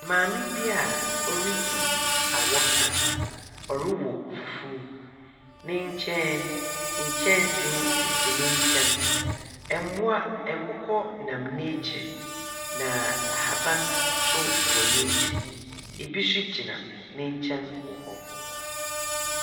Maame bi a oridzi awɔka. Ɔrowɔ fufuw. Ne nkyɛn no, nkyɛnsee sisi ne nkyɛn. Mboa nkokɔ nam n'ekyir, na ahaban nso wɔ n'ekyir. Ɛbi nso gyina ne nkyɛn wɔ hɔ.